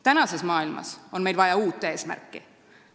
Praeguses maailmas on meil vaja uut eesmärki.